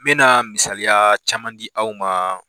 N bɛna misaliya caman di aw ma.